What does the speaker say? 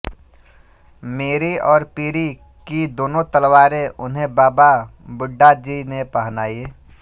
मीरी और पीरी की दोनों तलवारें उन्हें बाबा बुड्डाजीने पहनाई